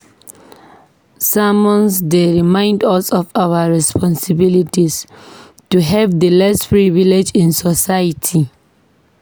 Sermons dey remind us of our responsibilities to help the less privileged in society.